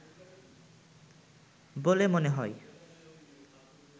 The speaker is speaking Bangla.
বলে মনে হয়